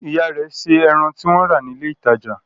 Ìyá rẹ̀ se ẹran tí wọ́n rà ní ilé-ìtajà?